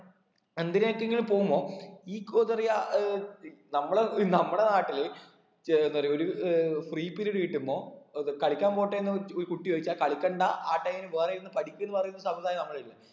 എന്തിനെക്കെങ്കിലും പോകുമ്പോ ഈ കൊതേറിയ ഏർ നമ്മടെ നമ്മടെ നാട്ടില് ഏർ എന്താ പറയാ ഏർ ഒരു free period കിട്ടുമ്പോ ഏർ ത് കളിക്കാൻ പോട്ടേന്ന് ഒരു ഒരു കുട്ടി ചോദിച്ചാൽ കളിക്കണ്ട ആ time ൽ വേറെ ഇരുന്ന് പഠിക്ക് പറയുന്ന സംമ്പ്രതായാ നമ്മളില്